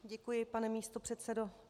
Děkuji, pane místopředsedo.